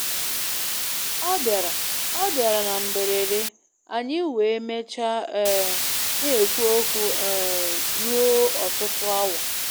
Ọ bịara Ọ bịara na mberede, anyị wee mechaa um na-ekwu okwu um ruo ọtụtụ awa.